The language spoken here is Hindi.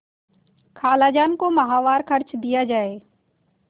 खालाजान को माहवार खर्च दिया जाय